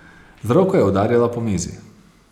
Z roko je udarila po mizi.